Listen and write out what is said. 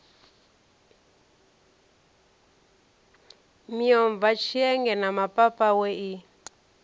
miomva tshienge na mapapawe i